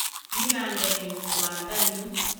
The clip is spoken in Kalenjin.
nyikande nyu kwanda nyu